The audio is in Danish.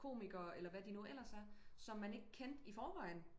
Komiker eller hvad de nu ellers er som man ikke kendte i forvejen